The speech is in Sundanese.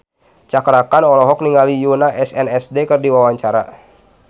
Cakra Khan olohok ningali Yoona SNSD keur diwawancara